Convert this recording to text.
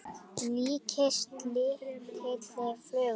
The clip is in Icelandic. líkist lítilli flugu.